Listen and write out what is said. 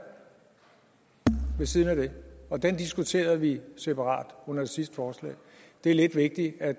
ved siden af det og den diskuterede vi separat under det sidste forslag det er lidt vigtigt at